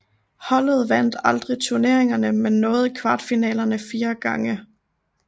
Holdet vandt aldrig turneringen men nåede kvartfinalerne fire gange